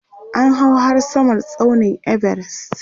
an hau har Samar tsaunin Everest